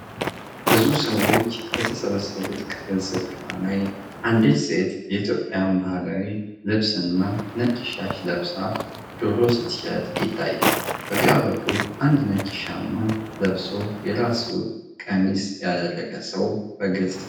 ብዙ ሰዎች በተሰበሰቡበት ክፍት ስፍራ ላይ አንዲት ሴት የኢትዮጵያን ባህላዊ ልብስና ነጭ ሻሽ ለብሳ ዶሮ ስትሸጥ ይታያል። በግራ በኩል አንድ ነጭ ሻማ ለብሶ የራስ ቀሚስ ያደረገ ሰው በግልጽ ይታያል።